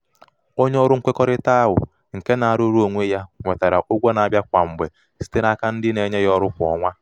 onye ọrụ nkwekọrịta ahụ nke na-arụrụ nke na-arụrụ onwe ya nwetara ụgwọ na-abịa kwa mgbe site n'aka ndị na-enye ha ọrụ kwa ọnwa.